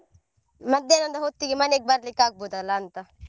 ಮಧ್ಯಾಹ್ನ ಹೊತ್ತಿಗೆ ಮನೆಗೆ ಬರ್ಲಿಕ್ಕೆ ಆಗಬೋದಲ್ಲಾಂತಾ.